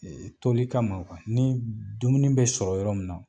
toli kama ni dumuni bɛ sɔrɔ yɔrɔ min na